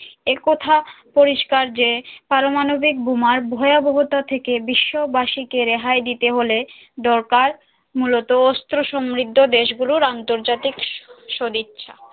একথা পরিষ্কার যে পারমাণবিক বোমার ভয়াবহতা থেকে বিশ্ববাসি কে রেহাই দিতে হলে দরকার মূলত অস্ত্র সমৃদ্ধ দেশ গুলোর অন্তর্জাতিক সদিচ্ছা